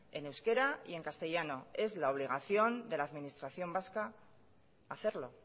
en euskera y en castellano es la obligación de la administración vasca hacerlo